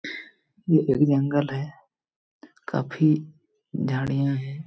ये एक जंगल है काफी झड़िया हैं।